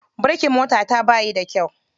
Birikin motata bayi da kyau.